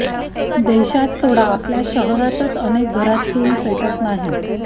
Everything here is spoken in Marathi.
देशात सोडा आपल्या शहरातच अनेक घरात चूल पेटत नाही